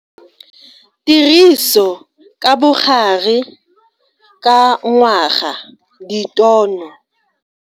Tiriso ka bogare ka ngwaga ditono.